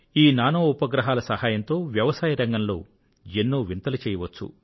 ఈ నానో ఉపగ్రహాల సహాయంతో వ్యవసాయరంగంలో ఎన్నో వింతలు చేయవచ్చు